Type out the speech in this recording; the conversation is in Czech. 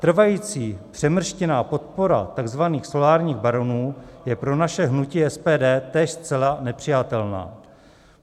Trvající přemrštěná podpora tzv. solárních baronů je pro naše hnutí SPD též zcela nepřijatelná.